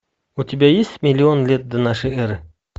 у тебя есть миллион лет до нашей эры